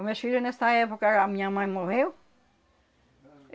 Os meus filhos, nessa época, a minha mãe morreu.